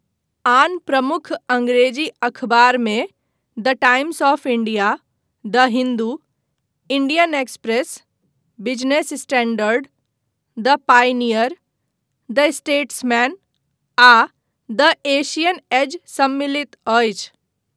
आन प्रमुख अङ्गरेजी अखबारमे the Times of India, the Hindu, Indian Express, Business Standard, the Pioneer, the Statesman, आ द एशियन एज सम्मिलित अछि।